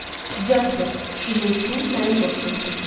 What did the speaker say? Jasper, Şirinin su mənim dostumdur.